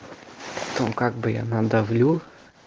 там как бы я надавилю